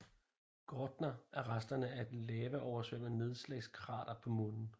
Gärtner er resterne af et lavaoversvømmet nedslagskrater på Månen